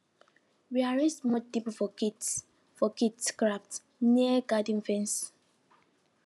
we arrange small table for kids for kids craft near garden fence